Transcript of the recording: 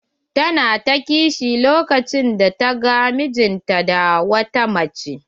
Ta na ta ƙishi lokacin da ta gan mijin ta da wata mace.